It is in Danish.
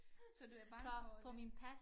Så du er bange for det